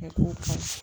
Kɛ k'o